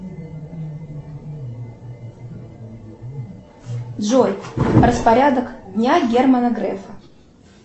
джой распорядок дня германа грефа